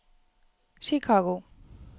Chicago